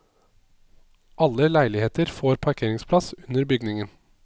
Alle leiligheter får parkeringsplass under bygningen.